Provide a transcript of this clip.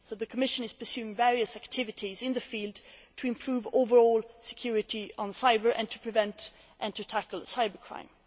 So the Commission is pursuing various activities in the field to improve overall cybersecurity and to prevent and to tackle cybercrime.